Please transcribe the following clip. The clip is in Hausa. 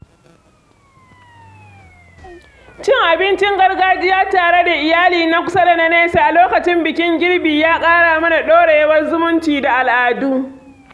Cin abincin gargajiya tare da iyali na kusa da na nesa a lokacin bikin girbi ya ƙara mana ɗorewar zumunci da al’adu.